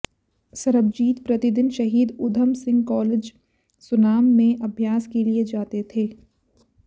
सरबजीत प्रतिदिन शहीद ऊधम सिंह कॉलेज सुनाम में अभ्यास के लिए जाते थे